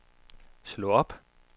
slå op